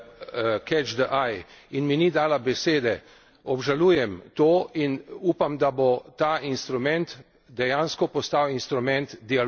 Obžalujem to in upam, da bo ta instrument dejansko postal instrument dialoga v Parlamentu, ne pa deklamacij in monologov.